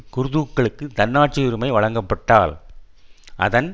குர்துகளுக்கு தன்னாட்சியுரிமை வழங்கப்பட்டால் அதன்